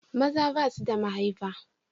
Maza ba su da mahaifar.